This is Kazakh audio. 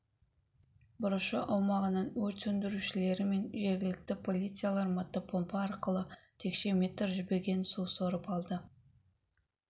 бұрышы аумағынан өрт сөндірушілері мен жергілікті полициялар мотопомпа арқылы текше метр жібіген су сорып алды